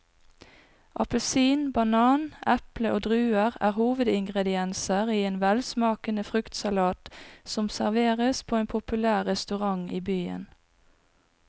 Appelsin, banan, eple og druer er hovedingredienser i en velsmakende fruktsalat som serveres på en populær restaurant i byen.